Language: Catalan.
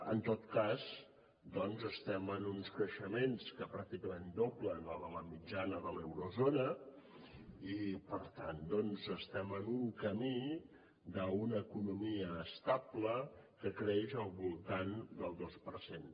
en tot cas doncs estem en uns creixements que pràcticament doblen la mitjana de l’eurozona i per tant estem en un camí d’una economia estable que creix al voltant del dos per cent